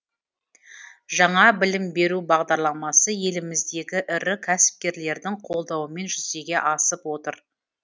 жаңа білім беру бағдарламасы еліміздегі ірі кәсіпкерлердің қолдауымен жүзеге асып отыр